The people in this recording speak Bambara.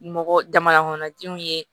Mɔgɔ jamana kɔnɔdenw ye